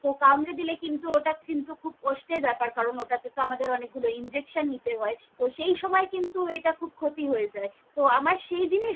কাম্রে দিলে কিন্তু ওটা কিন্তু খুব কস্তের ব্যাপার কারন ওটা তে আমাদের অনেক গুলো injection নিতে হয়, তহ সেই সময় কিন্তু এটা খুব ক্ষতি হয়ে যায় তহ আমার সেই জিনিস।